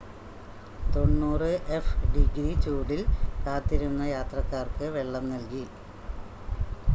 90എഫ്-ഡിഗ്രി ചൂടിൽ കാത്തിരുന്ന യാത്രക്കാർക്ക് വെള്ളം നൽകി